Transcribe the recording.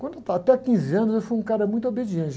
Quando eu estava, até quinze anos, eu fui um cara muito obediente.